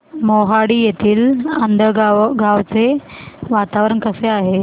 मोहाडीतील आंधळगाव चे वातावरण कसे आहे